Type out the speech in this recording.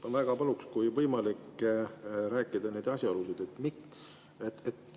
Ma väga paluksin, kui võimalik, rääkida asjaoludest.